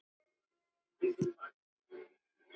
Haltu bara áfram.